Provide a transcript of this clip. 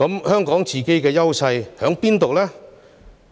香港本身的優勢是甚麼呢？